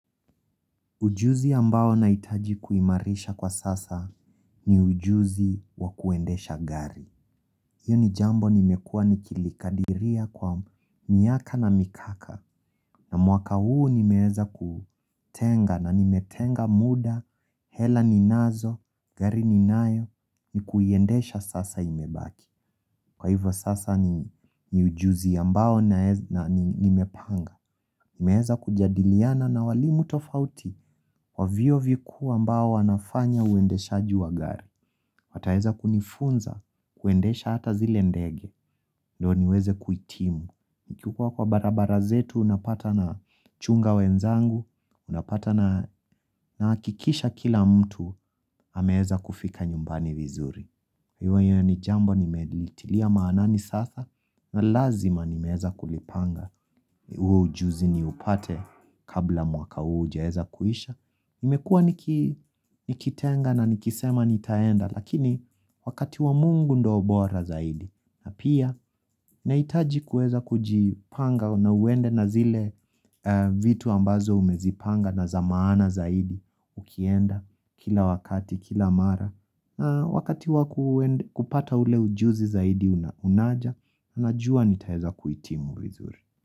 Ujuzi ambao nahitaji kuimarisha kwa sasa, ni ujuzi wa kuendesha Gari hiyo, ni jambo nimekuwa nikilikadiria kwa miaka na mikaka. Na mwaka huu nimeeza kutenga na nimetenga muda, hela ninazo, gari ninayo, ni kuiendesha sasa imebaki. Kwa hivyo sasa ni ni ujuzi ambao nae na nimepanga, Nimeeza kujadiliana na walimu tofauti wa Vyuo vikuu ambao wanafanya uendeshaji wa Gari. Wataeza kunifunza, kuendesha hata zile ndege, ndo niweze kuhitimu. Nikikua kwa barabara zetu, napata na chunga wezangu, napata na nahakikisha kila mtu, ameeza kufika nyumbani vinzuri. Jua hiyo, ni jambo nimelitilia maanani sasa na lazima nimeeza kulipanga. Huo ujuzi niupate kabla mwaka huu hujaeza kuisha. Nimekuwa niki, nikitenga na nikisema nitaenda, lakini wakati wa Mungu ndo bora zaidi. Na pia, nahitaji kueza kujipanga na uende na zile eeh vitu ambazo umezipanga na zamaana zaidi ukienda kila wakati kila mara. Eee Wakati wakuende, kupata ule ujuzi zaidi una unaja, najua nitaeza kuhitimu vinzuri.